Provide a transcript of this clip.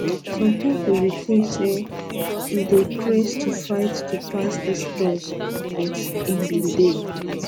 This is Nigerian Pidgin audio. some pipo bin tink say e dey craze to fight to pass dis um laws um but e bin dey